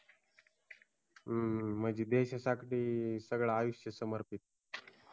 हूं हूं म्हणजे देशासाठी सगळ आयुष्य समर्पित केल